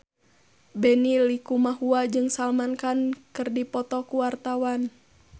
Benny Likumahua jeung Salman Khan keur dipoto ku wartawan